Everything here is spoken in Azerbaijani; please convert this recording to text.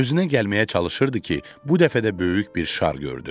Özünə gəlməyə çalışırdı ki, bu dəfə də böyük bir şar gördü.